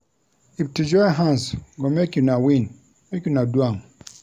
If to join hands go make una win, make una do am.